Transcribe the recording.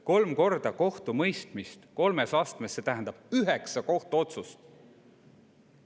Kolm korda kohtumõistmist kolmes astmes tähendab üheksat kohtuotsust.